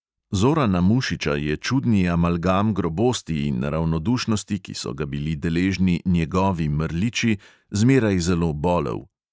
Zorana mušiča je čudni amalgam grobosti in ravnodušnosti, ki so ga bili deležni "njegovi" mrliči, zmeraj zelo bolel.